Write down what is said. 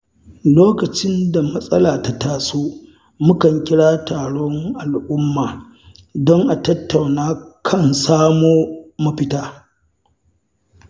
Lokacin da matsala ta taso, mukan kira taron al’umma don a tattauna kan samo mafita.